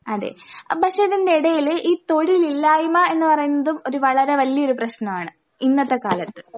അതെ അഹ് പക്ഷെതിൻ്റെടേല് ഈ തൊഴിലില്ലായ്മ എന്നു പറയുന്നതും ഒരു വളരെ വല്ല്യൊരു പ്രശ്നവാണ് ഇന്നത്തെ കാലത്ത്.